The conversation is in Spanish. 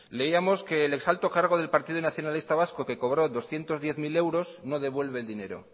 leíamos que el ex alto cargo del partido nacionalista vasco que cobró doscientos diez mil no devuelve el dinero